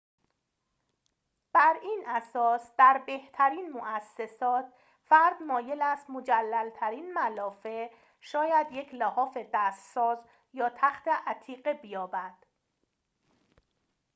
بر این اساس در بهترین موسسات فرد مایل است مجلل‌ترین ملافه شاید یک لحاف دست ساز یا تخت عتیقه بیابد